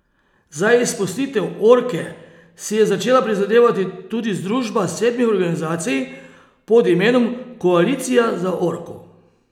Za izpustitev orke si je začela prizadevati tudi združba sedmih organizacij pod imenom Koalicija za orko.